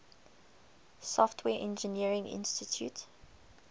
software engineering institute